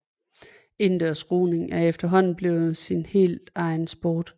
Indendørs roning er efterhånden blevet sin helt egen sport